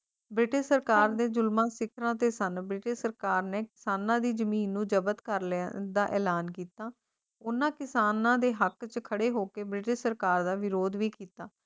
British ਸਰਕਾਰ ਦੇ ਜ਼ੁਲਮ ਸਿਖਰਾਂ ਤੇ ਸਨ ਮੀਟੇ ਸਰਕਾਰ ਨੇ ਕਿਸਾਨਾਂ ਦੀ ਜ਼ਮੀਨ ਨੂੰ ਜ਼ਬਤ ਕਰ ਲਿਆ ਉਸ ਦਾ ਐਲਾਨ ਕੀਤਾ ਉਨ੍ਹਾਂ ਕਿਸਾਨਾਂ ਦੇ ਹੱਕ ਚ ਖੜੇ ਹੋਕੇ ਮੈਨੂੰ ਸਰਕਾਰ ਦਾ ਵਿਰੋਧ ਵੀ ਕੀਤਾ